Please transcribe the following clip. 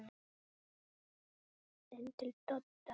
Inn til Dodda.